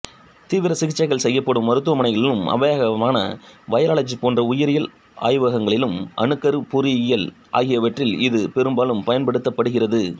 தீவிர சிகிச்சைகள் செய்யப்படும் மருத்துவமனைகளிலும் அபாயகரமான வைராலஜி போன்ற உயிரியல் ஆய்வகங்களிலும் அணுக்கருப் பொறியியல் ஆகியவற்றில் இது பெரும்பாலும் பயன்படுத்தப்படுகிறது